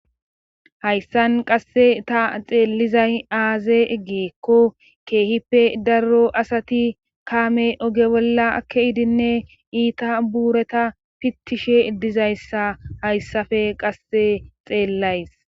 hayssan qasse ta xeellizay aaze eggeekko keehippe darro asati kaame oge bolla akke idinne iita buureta pittishe dizayssa hayssafe qasse xeellays